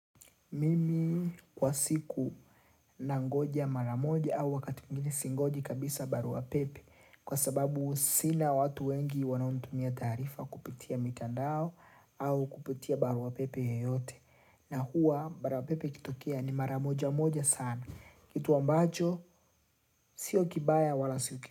Mimi kwa siku nangoja maramoja au wakati mwingine singoji kabisa barua pepe kwa sababu sina watu wengi wanaonitumia taarifa kupitia mikandao au kupitia barua pepe yeyote na hua barua pepe ikitokea ni maramoja moja sana kitu ambacho sio kibaya wala suki.